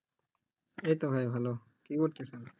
এইত ভাই ভালো কি করতেসেন?